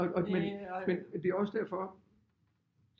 Og men men det er også derfor